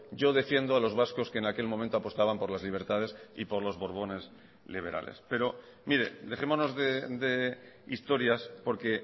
yo defiendo a los vascos que en aquel momento apostaban por las libertades y por los borbones liberales pero mire dejémonos de historias porque